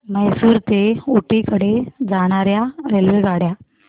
म्हैसूर ते ऊटी कडे जाणार्या रेल्वेगाड्या